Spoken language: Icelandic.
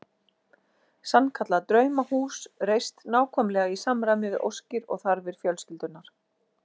Sannkallað draumahús reist nákvæmlega í samræmi við óskir og þarfir fjölskyldunnar.